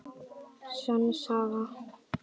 Sönn saga.